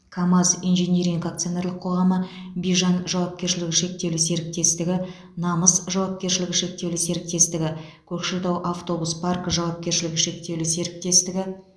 камаз инжиниринг акционерлік қоғамы бижан жауапкершілігі шектеулі серіктестігі намыс жауапкершілігі шектеулі серіктестігі көкшетау автобус паркі жауапкершілігі шектеулі серіктестігі